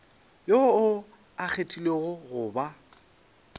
yoo a kgethilwego go ba